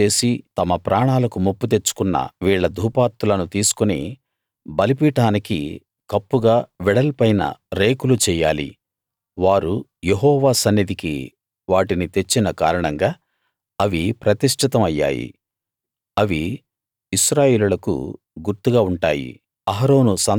పాపం చేసి తమ ప్రాణాలకు ముప్పు తెచ్చుకున్న వీళ్ళ ధూపార్తులను తీసుకుని బలిపీఠానికి కప్పుగా వెడల్పైన రేకులు చెయ్యాలి వారు యెహోవా సన్నిధికి వాటిని తెచ్చిన కారణంగా అవి ప్రతిష్ఠితం అయ్యాయి అవి ఇశ్రాయేలీయులకు గుర్తుగా ఉంటాయి